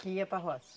Que ia para a roça?